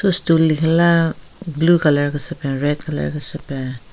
Thu stool lekhila blue colour kese peng red colour kese peng.